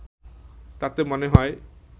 তাতে মনে হয়